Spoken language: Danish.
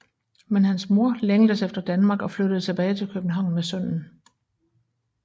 Men hans mor længtes efter Danmark og flyttede tilbage til København med sønnen